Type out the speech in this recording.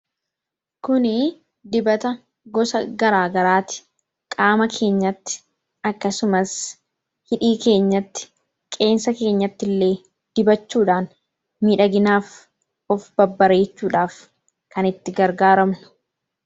Kuni dibata gosa garaagaraati. Qaama keenyatti akkasumas hidhii keenyatti qeensa keenyatti illee dibachuudhaan midhaginaaf of babbareechuudhaaf kan itti gargaaramnudha.